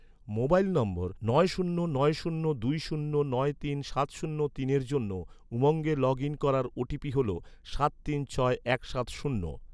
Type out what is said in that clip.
mobile number, নয় শূন্য নয় শূন্য দুই শূন্য নয় তিন সাত শূন্য তিনের জন্য, উমঙ্গে লগ ইন করার ওটিপি হল, সাত তিন ছয় এক সাত শূন্য